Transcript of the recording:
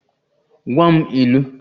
Gwa m ilu!